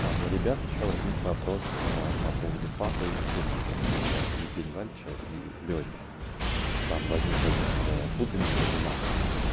у ребят ещё возник вопрос по поводу папы и сына то есть евгения вальча и лёни там возникла некоторая путаница в умах